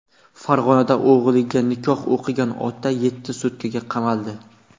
Farg‘onada o‘g‘liga nikoh o‘qigan ota yetti sutkaga qamaldi .